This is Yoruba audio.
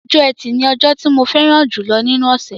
Ọjọ́ ẹtì ni ọjọ́ tí mo fẹ́ràn jùlọ nínú ọ̀ṣẹ̀